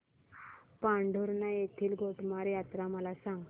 पांढुर्णा येथील गोटमार यात्रा मला सांग